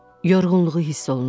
Yorğunluğu hiss olunurdu.